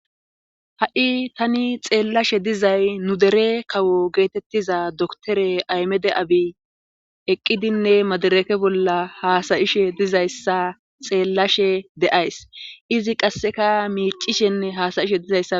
ha7i tani xeellashe dizay nu dere kawo geetettiza doktore aymede abi eqqidinne madereke bolla haasayishe dizayssa xeellashe de7ays izi qasseka miicishenne haasayishe dizayssa